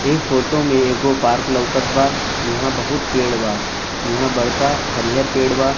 ए photo में एगो park लउकत बा इहाँ बहुत पेड़ बा इहाँ बड़का हरियर पेड़ बा।